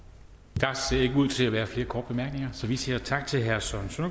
der ser ikke ud til at være flere korte bemærkninger så vi siger tak til herre søren